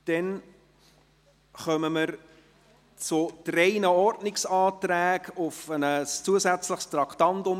Nun kommen wir zu drei Ordnungsanträgen auf Aufnahme eines zusätzlichen Wahltraktandums.